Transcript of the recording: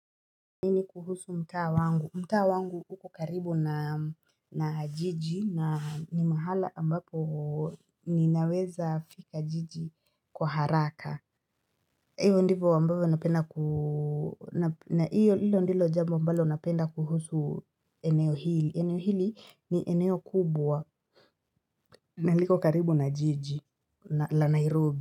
Kuhusu mtaa wangu mtaa wangu uko karibu na na jiji na ni mahala ambapo ni naweza fika jiji kwa haraka iyo ndivo ambavyo napenda ku.hilo ndilo jambo ambalo napenda kuhusu eneo hili eneo hili ni eneo kubwa naliko karibu na jiji la Nairobi.